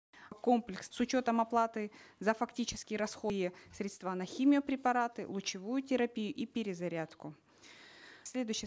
комплекс с учетом оплаты за фактические и средства на химиопрепараты лучевую терапию и перезарядку следующий